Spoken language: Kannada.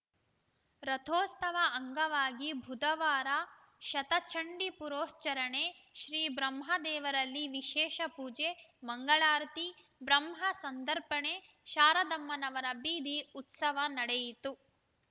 ರಥೋತ್ಸವ ಅಂಗವಾಗಿ ಬುಧವಾರ ಶತಚಂಡೀ ಪುರಶ್ಚರಣೆ ಶ್ರೀ ಬ್ರಹ್ಮ ದೇವರಲ್ಲಿ ವಿಶೇಷ ಪೂಜೆ ಮಂಗಳಾರತಿ ಬ್ರಹ್ಮ ಸಂದರ್ಪಣೆ ಶಾರದಮ್ಮನವರ ಬೀದಿ ಉತ್ಸವ ನಡೆಯಿತು